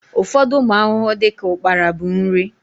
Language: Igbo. Ụfọdụ ụmụ ahụhụ dịka ukpara bụ nri